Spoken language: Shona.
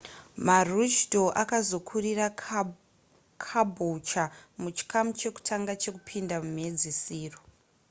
maroochydore akazokurira caboolture muchikamu chekutanga chekupinda mumhedziso